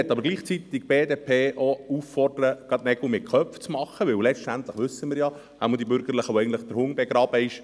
Gleichzeitig möchte ich die BDP dazu auffordern, Nägel mit Köpfen zu machen, denn letztendlich wissen wir – oder zumindest wir Bürgerlichen –, wo der Hund begraben ist.